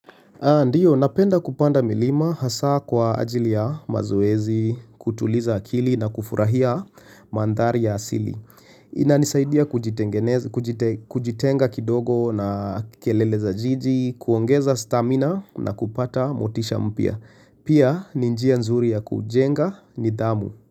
Ndiyo, napenda kupanda milima hasa kwa ajili ya mazoezi, kutuliza akili na kufurahia manthari ya asili. Inanisaidia kujitenga kidogo na kelele za jiji, kuongeza stamina na kupata motisha mpya. Pia, ni njia nzuri ya kujenga nidhamu.